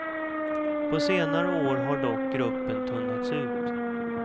På senare år har dock gruppen tunnats ut.